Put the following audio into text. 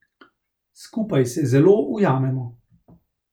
Skupaj se zelo ujamemo.